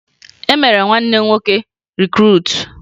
E mere nwanne m nwoke rikruutu